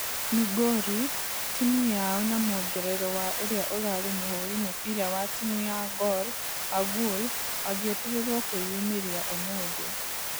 Migori....timũ yao na mũongerero wa ũrĩa ũrarĩ mũhũri mũbira wa timũ ya gor Agul agĩetererwo kwĩumĩria ũmũthĩ.